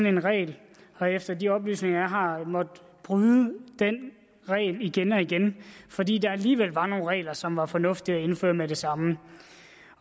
en regel har efter de oplysninger jeg har måttet bryde den regel igen og igen fordi der alligevel var nogle regler som var fornuftige at indføre med det samme